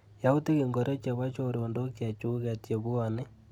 Yautik ingoro chebo chorondok chechuket chebwoni.